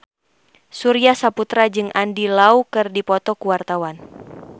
Surya Saputra jeung Andy Lau keur dipoto ku wartawan